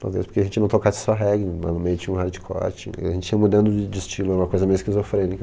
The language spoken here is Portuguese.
Talvez porque a gente não tocasse só reggae, lá no meio tinha um hardcore, tinha, a gente ia mudando de estilo, era uma coisa meio esquizofrênica.